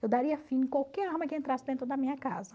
Eu daria fim a qualquer arma que entrasse dentro da minha casa.